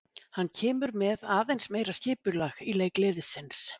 Hann kemur með aðeins meira skipulag í leik liðsins.